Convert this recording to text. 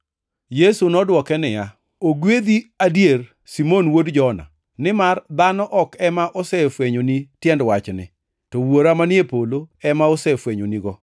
Yesu nodwoke niya, “Ogwedhi adier, Simon wuod Jona, nimar dhano ok ema osefwenyoni tiend wachni, to Wuora manie polo ema osefwenyonigo.